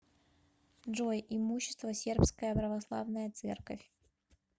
джой имущество сербская православная церковь